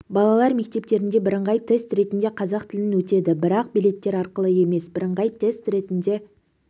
балалар мектептерінде бірыңғай тест ретінде қазақ тілін өтеді бірақ билеттер арқылы емес бірыңғай тест ретінде